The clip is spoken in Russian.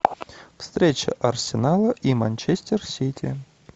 встреча арсенала и манчестер сити